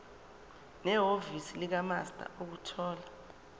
nehhovisi likamaster ukuthola